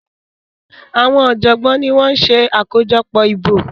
Àwọn ọjọgbọn ní wón ṣe akojọpọ ìbò